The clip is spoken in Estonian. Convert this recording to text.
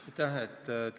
Aitäh!